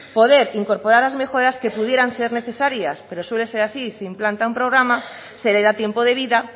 poder incorporar las mejoras que pudieran ser necesarias pero suele ser así se implanta un programa se le da tiempo de vida